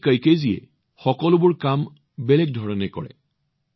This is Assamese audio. হিৰোচি কইকেজীয়ে প্ৰতিটো কাম পৃথক ধৰণে কৰে